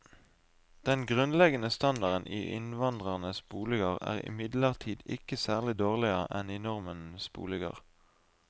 Den grunnleggende standarden i innvandrernes boliger er imidlertid ikke særlig dårligere enn i nordmenns boliger.